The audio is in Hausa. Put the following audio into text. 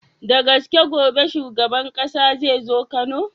Da gaske gobe shuban ƙasa zai zo kano?